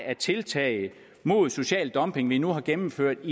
tiltag mod social dumpning som vi nu har gennemført